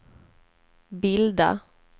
bilda